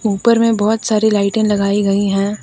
ऊपर में बहुत सारी लाइटें लगाई गई है।